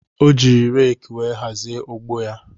O ji reeki wee hazie ugbo ya